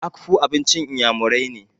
Akpu abincin iyamurai ne.